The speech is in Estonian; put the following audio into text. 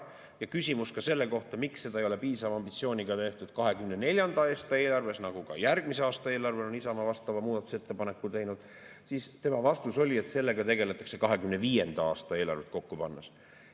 Ja kui küsimus oli ka selle kohta, miks seda ei ole piisava ambitsiooniga tehtud 2024. aasta eelarves – ka järgmise aasta eelarvesse on Isamaa vastava muudatusettepaneku teinud –, siis tema vastus oli, et sellega tegeldakse 2025. aasta eelarvet kokku pannes.